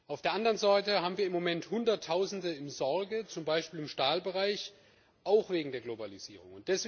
Auf der anderen Seite haben wir im Moment Hunderttausende in Sorge, zum Beispiel im Stahlbereich, auch wegen der Globalisierung.